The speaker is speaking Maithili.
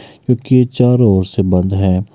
क्योंकि ये चारो ओर से बंधा है।